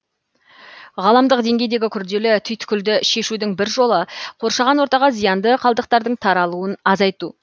ғаламдық деңгейдегі күрделі түйткілді шешудің бір жолы қоршаған ортаға зиянды қалдықтардың таралуын азайту